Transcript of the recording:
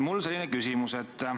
Mul on selline küsimus.